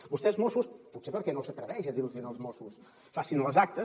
vostès mossos potser perquè no s’atreveix a dir los ho als mossos facin les actes